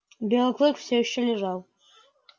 белый клык всё ещё лежал